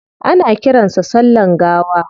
Ana kiran sa sallan gawa